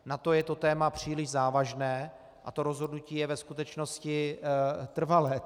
Na to je to téma příliš závažné a to rozhodnutí je ve skutečnosti trvalé.